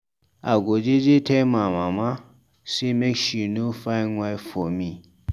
I go jeje tell my mama sey make she no find wife for me.